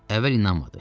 Əvvəl inanmadı.